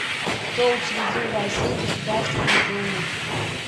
кто учредил в россии государственную думу